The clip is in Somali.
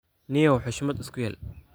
Nio hushmadh iskuyel.